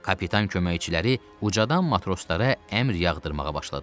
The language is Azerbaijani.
Kapitan köməkçiləri ucadan matroslara əmr yağdırmağa başladılar.